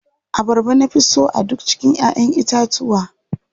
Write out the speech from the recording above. Abarba na fi so a duk cikin ƴaʼƴen itatuwa.